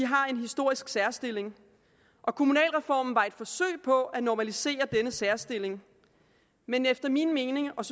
har en historisk særstilling og kommunalreformen var et forsøg på at normalisere denne særstilling men efter min mening og